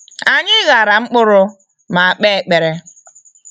Anyị ghara mkpụrụ ma kpe ekpere.